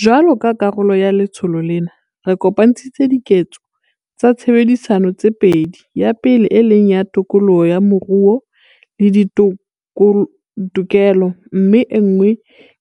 Jwalo ka karolo ya letsholo lena, re kopantshitse 'Diketso tsa Tshebedisano' tse pedi, ya pele e leng ya tokoloho ya moruo le ditokelo mme enngwe